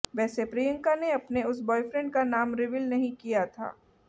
वैसे प्रियंका ने अपने उस ब्वॉयफ्रेंड का नाम रिवील नहीं किया था